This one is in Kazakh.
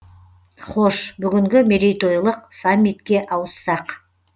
хош бүгінгі мейрейтойлық саммитке ауыссақ